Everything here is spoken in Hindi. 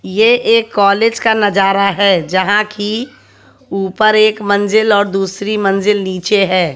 ये एक कॉलेज का नजारा है जहा की ऊपर एक मंजिल और दूसरी मंजिल नीचे है।